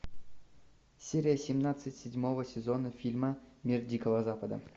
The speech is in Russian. серия семнадцать седьмого сезона фильма мир дикого запада